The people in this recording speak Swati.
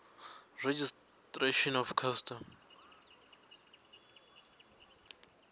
registration of custom